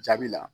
Jaabi la